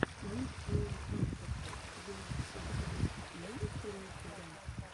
микс мира танцев ворлд оф данс имеется ли у тебя